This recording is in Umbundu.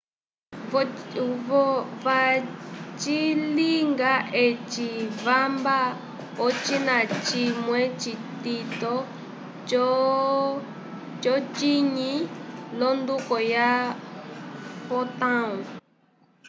vacilinga eci vamba ocina cimwe citito c'ocinyi l'onduko ya fotão